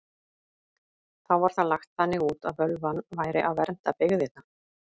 Þá var það lagt þannig út að völvan væri að vernda byggðirnar.